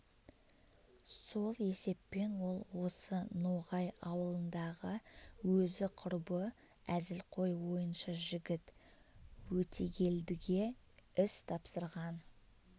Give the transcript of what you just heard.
сол есеппен ол осы ноғай аулындағы өзі құрбы әзілқой ойыншы жігіт өтегелдіге іс тапсырған